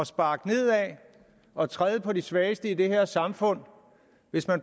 sparke nedad og træde på de svageste i det her samfund hvis